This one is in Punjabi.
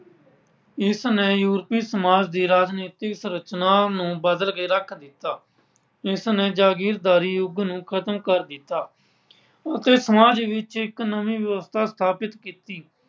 ਇਸਨੇ ਯੂਰਪੀ ਸਮਾਜ ਦੀ ਰਾਜਨੀਤਿਕ ਰਚਨਾ ਨੂੰ ਬਦਲ ਕੇ ਰੱਖ ਦਿੱਤਾ। ਇਸਨੇ ਜਾਗੀਰਦਾਰੀ ਯੁੱਗ ਨੂੰ ਖਤਮ ਕਰ ਦਿੱਤਾ ਅਤੇ ਸਮਾਜ ਵਿੱਚ ਇੱਕ ਨਵੀਂ ਵਿਵਸਥਾ ਸਥਾਪਿਤ ਕੀਤੀ।